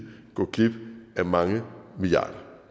gå glip af mange milliarder